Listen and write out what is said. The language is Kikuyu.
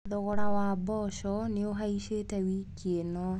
Thogora wa mboco nĩũhaicĩte wiki ĩno.